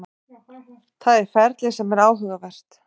Það er ferlið sem er áhugavert.